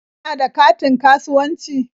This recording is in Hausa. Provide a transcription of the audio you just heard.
Kana da katin kasuwanci?